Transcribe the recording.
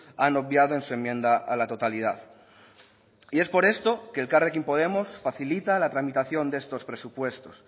han obviado en su enmienda a la totalidad y es por esto que elkarrekin podemos facilita la tramitación de estos presupuestos